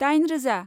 दाइन रोजा